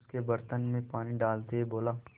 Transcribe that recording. उसके बर्तन में पानी डालते हुए बोला